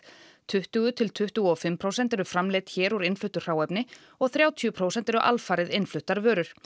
tuttugu til tuttugu og fimm prósent eru framleidd hér úr innfluttu hráefni og þrjátíu prósent eru alfarið innfluttar vörur